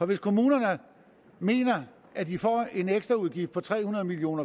hvis kommunerne mener at de får en ekstraudgift på tre hundrede million